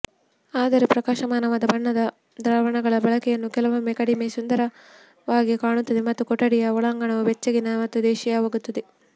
ಆದರೆ ಪ್ರಕಾಶಮಾನವಾದ ಬಣ್ಣದ ದ್ರಾವಣಗಳ ಬಳಕೆಯನ್ನು ಕೆಲವೊಮ್ಮೆ ಕಡಿಮೆ ಸುಂದರವಾಗಿ ಕಾಣುತ್ತದೆ ಮತ್ತು ಕೊಠಡಿಯ ಒಳಾಂಗಣವು ಬೆಚ್ಚಗಿನ ಮತ್ತು ದೇಶೀಯವಾಗಿದೆ